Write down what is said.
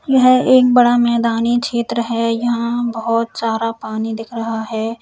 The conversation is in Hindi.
यह एक बड़ा मैदानी क्षेत्र है यहां बहोत सारा पानी दिख रहा है।